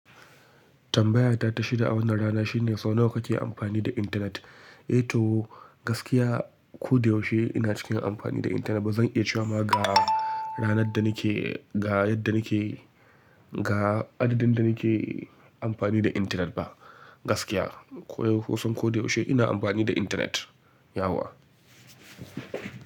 Tambayata ta shida a wannan rana shine sau nawa kake amfani da intanet? Eh to gaskiya ko da yaushe ina cikin amfani da intanet. Ba zan iya cewa ma ga ranar da nake, ga yadda nake, ga adadin da nake amfani da intanet ba. Gaskiya, ko da yaushe ina amfani da intanet, yah.